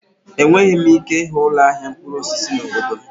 Enweghị m ike ịhụ ụlọ ahịa mkpụrụ osisi n'obodo m.